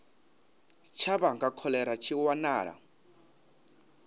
tsha vhanga kholera tshi wanala